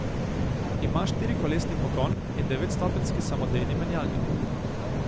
Ima štirikolesni pogon in devetstopenjski samodejni menjalnik.